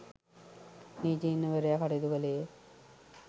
නීතිඥවරයා කටයුතු කළේය